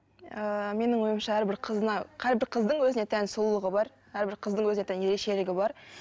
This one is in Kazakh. ыыы менің ойымша әрбір қызына әрбір қыздың өзіне тән сұлулығы бар әрбір қыздың өзіне тән ерекшелігі бар